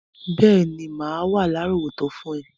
Béèní, má wa lárọ̀wọ́tó fun rẹ